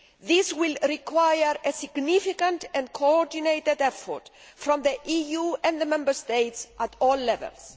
It will require a significant and coordinated effort from the EU and the Member States at all levels.